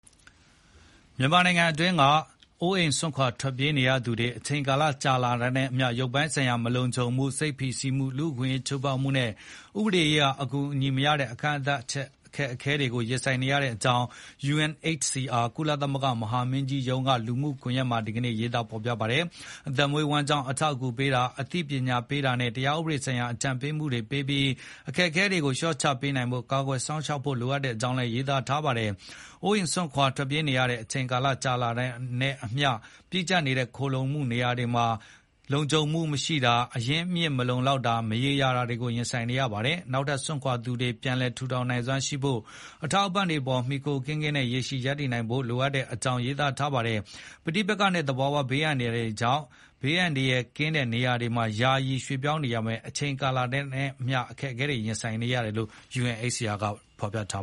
မြန်မာနိုင်ငံအတွင်းက ပြည်တွင်းနေရပ်စွန့်ခွာနေရသူတွေ အချိန်ကြာလာတာနဲ့အမျှ ရုပ်ပိုင်းဆိုင်ရာ မလုံခြုံမှု၊ စိတ်ဖိစီးမှု၊ လူအခွင့်အရေးချိုးဖေါက်မှုနဲ့ ဥပဒေရေးရာ အကူအညီမရတဲ့ ကန့်သတ်ချက် အခက်အခဲတွေကို ရင်ဆိုင်နေရတဲ့အကြောင်း UNHCR ကုလသမဂ္ဂ မဟာမင်းကြီးရုံး က လူမှုကွန်ယက်တွေမှာ ဒီနေ့ ရေးသားထားပါတယ်။ အသက်မွေးဝမ်းကြောင်း အထောက်အကူပေးတာ၊ အသိပညာပေးတာနဲ့၊ တရားဥပဒေဆိုင်ရာ အကြံပေးမှုတွေ ပေးပြီး အခက်အခဲတွေကို လျှော့ချပေးနိုင်ဖို့၊ ကာကွယ်စောင့်ရှောက်ဖို့ လိုတဲ့အကြောင်း ရေးသားထားတာပါ။ အိုးအိမ်စွန့်ခွာ ရှောင်တိမ်းနေထိုင်ရတဲ့ အချိန်ကြာလာတာနဲ့အမျှ ပြည့်ကြပ်နေတဲ့ ခိုလှုံရာနေရာတွေမှာ လုံခြုံမှုမရှိ၊ အရင်းအမြစ်လုံလောက်မှုမရှိတဲ့ မရေရာမှုတွေကို ရင်ဆိုင်နေရပါတယ်။ နေရပ်စွန့်ခွာသူတွေ ပြန်လည်ထူထောင်နိုင်စွမ်းရှိဖို့၊ အထောက်အပံ့တွေပေါ် မှီခိုမှုကင်းကင်းနဲ့ ရေရှည်ရပ်တည်နိုင်ဖို့ လိုအပ်တဲ့အကြောင်း ရေးသားထားပါတယ်။ ပဋိပက္ခနဲ့ သဘာဝဘေးအန္တရာယ်တွေကြောင့် အန္တရာယ်ကင်းတဲ့ နေရာတွေကို ယာယီ ရွေ့ပြောင်းကြရပေမဲ့ အချိန်ကြာလာတာနဲ့အမျှ အခက်အခဲတွေ ရင်ဆိုင်နေရတာကို UNHCR က ထောက်ပြထား